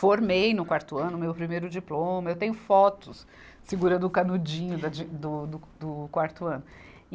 Formei no quarto ano o meu primeiro diploma, eu tenho fotos segurando o canudinho da, de, do, do, do quarto ano.